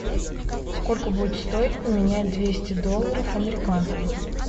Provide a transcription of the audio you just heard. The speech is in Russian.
сколько будет стоить поменять двести долларов американских